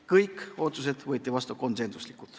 Kõik otsused võeti vastu konsensusega.